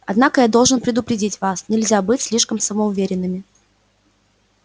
однако я должен предупредить вас нельзя быть слишком самоуверенными